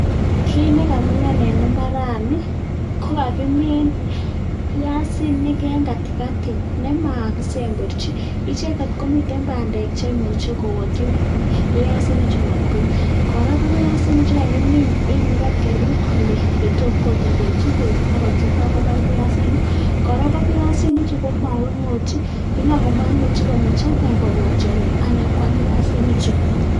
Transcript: Kiit nekamilan eng imbaarani, ko kakimin piasinik eng kati kati] chemakisemberchi icheket komiten bandek che imuch kowakyi piasinik chu matko, kora ko piasinik che kakimin eng ole kapkerut kole tam kotedenchin beek ako changa komuch kobar piasinik. Kora ko piasinichu komakingotyi, ko yon makingotyi komuch ine kobwa tiongik ako pokwaam piasinichu.